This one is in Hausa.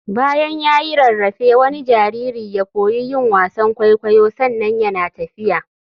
Bayan ya yi rarrafe wani jariri ya koyi yin wasan kwaikwayo sannan yana tafiya.